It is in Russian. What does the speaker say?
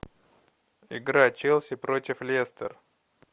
игра челси против лестер